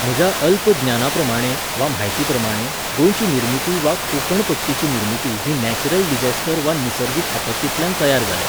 म्हज्या अल्प ज्ञानाप्रमाणे वा म्हायतीप्रमाणे गोंयची निर्मिती वा कोंकणपट्टीची निर्मिती ही नॅचरल डिसॅस्टर वा निसर्गीक आपत्तींतल्यान तयार जाल्या.